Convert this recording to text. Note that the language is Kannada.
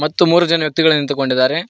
ಮತ್ತು ಮೂರು ಜನ ವ್ಯಕ್ತಿಗಳು ನಿಂತುಕೊಂಡಿದ್ದಾರೆ.